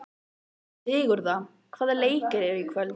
Sigurða, hvaða leikir eru í kvöld?